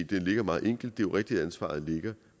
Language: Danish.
det er meget enkelt det er rigtigt at ansvaret ligger